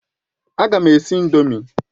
A ga m esi ị̀ndómị́